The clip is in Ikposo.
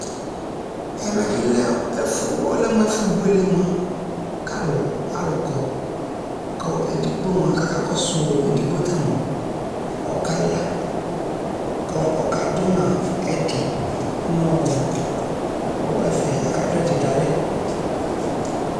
ɛmɛ bi lɛ ɛƒʋ ɔlɛmʋ ɛƒʋ bʋɛlɛ mʋa kʋ alʋ kɔ kʋ ɛdigbɔ mʋa kʋakakɔsʋ ɛdigbɔ tamʋa ɔkala kʋ ɔka dʋma ɛdi nʋ ɛƒɛ aka dʋ ɛdi dʋalɛ